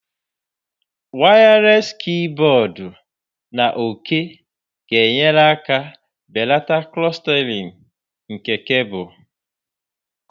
Wireless keyboard na òké ga-enyere aka belata clustering nke cables